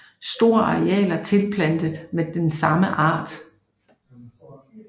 Store arealer tilplantet med same art